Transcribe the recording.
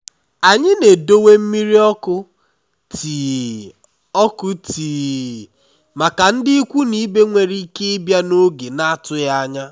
anyị na-edowe mmiri ọkụ tii ọkụ tii màkà ndị ikwu na ibe nwéré ike ịbịa n'oge n'atụghị ányá.